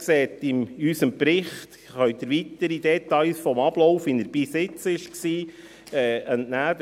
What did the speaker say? Sie können unserem Bericht weitere Details zum Ablauf, wie er bis jetzt war, entnehmen.